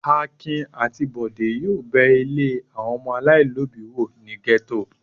Akin àti Bọ̀dé yóò bẹ ilé àwọn ọmọ aláìlóòbí wò ní gẹ́tò.